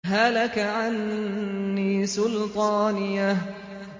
هَلَكَ عَنِّي سُلْطَانِيَهْ